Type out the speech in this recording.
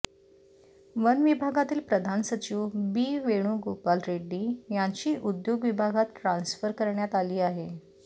one विभागातील प्रधान सचिव बी वेणुगोपाल रेड्डी यांची उद्योग विभागात ट्रान्स्फर करण्यात आली आहे